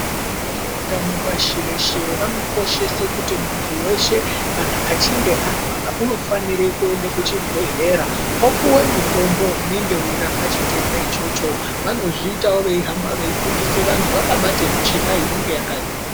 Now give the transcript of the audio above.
Vanoona ngezveutano pashi reshe vanokoshese kuti muntu weshe kana achinge arwara unofanire kuende kuchibhedhlera. Opiwe mutombo unonga weirape chitenda ichocho. Vanozviitawo veihamba veifundisa vantu, vakabate micheka inenge yakanyorwa.